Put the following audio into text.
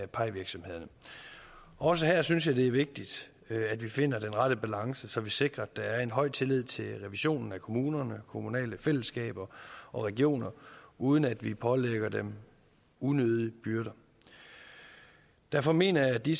pie virksomhederne også her synes jeg det er vigtigt at vi finder den rette balance så vi sikrer at der er en høj tillid til revisionen af kommuner kommunale fællesskaber og regioner uden at vi pålægger dem unødige byrder derfor mener jeg at de